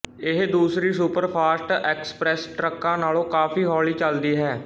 ਇਹ ਦੂਸਰੀ super fast express ਟਰੱਕਾਂ ਨਾਲੋਂ ਕਾਫ਼ੀ ਹੌਲੀ ਚਲਦੀ ਹੈ